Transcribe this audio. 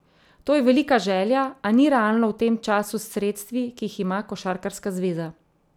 To je velika želja, a ni realno v tem času s sredstvi, ki jih ima košarkarska zveza.